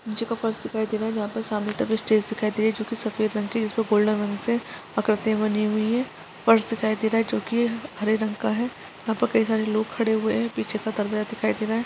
नीचे का फर्श दिखाई दे रहा है जहाँ पर सामने तक स्टेज दिखाई दे रही है जोकि सफेद रंग की है जिसपे गोल्डन रंग से आकृतियाँ बनी हुई है फर्श दिखाई दे रहा है जोकि हरे रंग का है वहाँ पर कई सारे लोग खड़े हुए है पीछे का तल दिखाई दे रहा है।